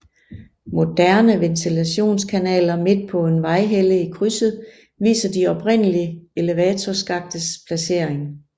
Moderne ventilationskanaler midt på en vejhelle i krydset viser de oprindelige elevatorskaktes placering